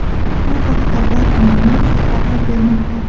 Bu haqda Batman News xabar bermoqda .